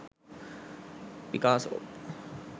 picasso